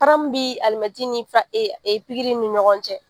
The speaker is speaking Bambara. bi ni ni ɲɔgɔn cɛ.